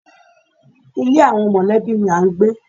Ilé àwọn mọ̀lẹ́bí ni à ń gbé.